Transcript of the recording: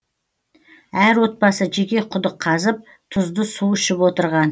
әр отбасы жеке құдық қазып тұзды су ішіп отырған